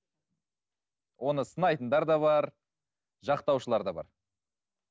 оны сынайтындар да бар жақтаушылар да бар